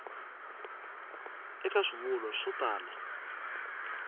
eka swivulwa swo tala a